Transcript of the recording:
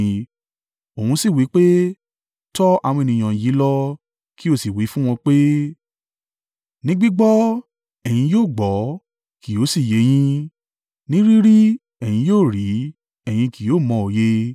Òun sì wí pé, “Tọ àwọn ènìyàn yìí lọ kí o sì wí fún wọn pé, “ ‘Ní gbígbọ́ ẹ̀yin yóò gbọ́, kì yóò sì yé e yín; ní rí rí ẹ̀yin yóò ri, ẹ̀yin kì yóò mọ òye.’